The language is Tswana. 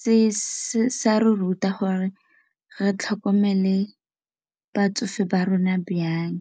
se sa re ruta gore re tlhokomele batsofe ba rona jang.